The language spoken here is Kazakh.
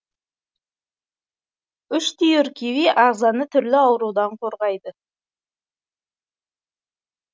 үш түйір киви ағзаны түрлі аурудан қорғайды